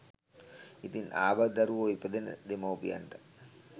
ඉතින් අබාධිත දරුවෝ ඉපදෙන දෙමව්පියන්ට